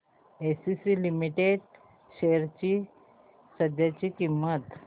ACC limited shares ची सध्याची किंमत